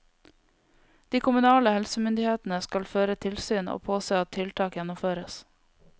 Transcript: De kommunale helsemyndighetene skal føre tilsyn og påse at tiltak gjennomføres.